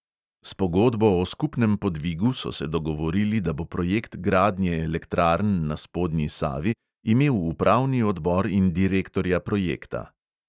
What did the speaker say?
S pogodbo o skupnem podvigu so se dogovorili, da bo projekt gradnje elektrarn na spodnji savi imel upravni odbor in direktorja projekta.